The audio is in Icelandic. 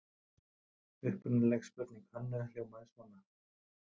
Upprunaleg spurning Hönnu hljómaði svona: